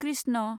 Krishna